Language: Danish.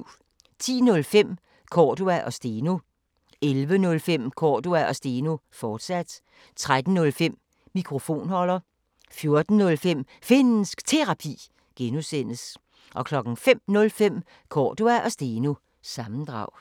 10:05: Cordua & Steno 11:05: Cordua & Steno, fortsat 13:05: Mikrofonholder 14:05: Finnsk Terapi (G) 05:05: Cordua & Steno – sammendrag